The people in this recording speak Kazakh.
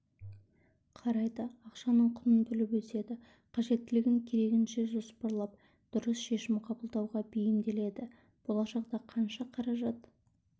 қарайды ақшаның құнын біліп өседі қажеттілігін керегінше жоспарлап дұрыс шешім қабылдауға бейімделеді болашақта қанша қаражат